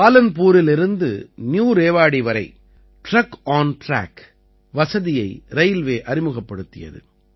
பாலன்பூரிலிருந்து new Rewari வரை truck on track வசதியை railway அறிமுகப்படுத்தியது